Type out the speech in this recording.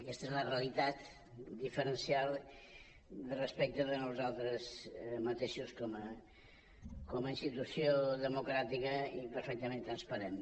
i aquesta és la realitat diferencial respecte de nosaltres mateixos com a institució democràtica i perfectament transparent